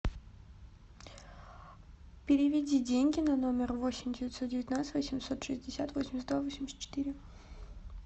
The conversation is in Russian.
переведи деньги на номер восемь девятьсот девятнадцать восемьсот шестьдесят восемьдесят два восемьдесят четыре